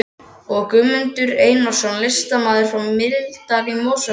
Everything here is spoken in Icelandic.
og Guðmundur Einarsson, listamaður frá Miðdal í Mosfellssveit.